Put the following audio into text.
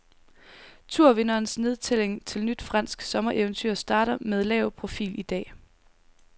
Tourvinderens nedtælling til nyt fransk sommereventyr starter med lav profil i dag.